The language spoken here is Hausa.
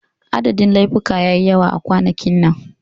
Adadin laifuka ya yi yawa a kwanakin nan.